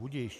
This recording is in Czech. Budiž.